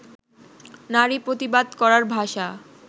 নারী প্রতিবাদ করার ভাষা